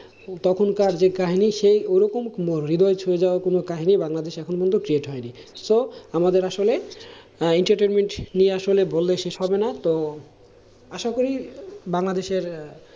তখনকার যে কাহিনী সেই ওরকম হৃদয় ছুঁয়ে যাওয়া কোনো কাহিনী বাংলাদেশে এখনও পর্যন্ত create হয়নি, so আমাদের আসলে আহ entertainment নিয়ে আসলে বললে শেষ হবে না তো আশা করি বাংলাদেশের আহ